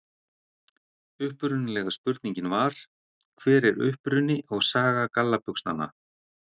Upprunalega spurningin var: Hver er uppruni og saga gallabuxnanna?